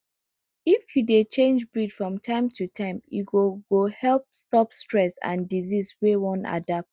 if you dey change breed from time to time e go go help stop stress and disease wey wan adapt